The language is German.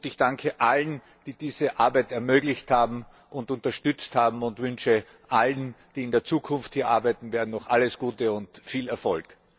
Ich danke allen, die diese Arbeit ermöglicht und unterstützt haben, und wünsche allen, die in Zukunft hier arbeiten werden, noch alles Gute und viel Erfolg!